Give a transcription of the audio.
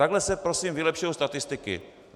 Takhle se prosím vylepšují statistiky.